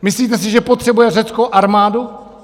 Myslíte si, že potřebuje Řecko armádu?